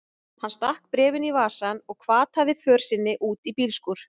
Hann stakk bréfinu í vasann og hvataði för sinni út í bílskúr.